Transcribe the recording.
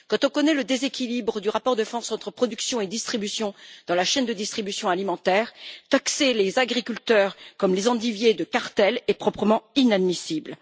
Quand on connaît le déséquilibre du rapport de force entre production et distribution dans la chaîne de distribution alimentaire, taxer les agriculteurs comme les endiviers de cartel est proprement inadmissible.